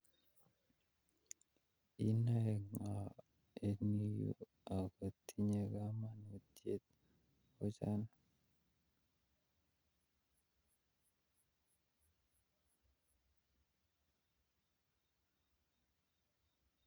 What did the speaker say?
Inoe ngo en yu aggot tinnye kamanut ochon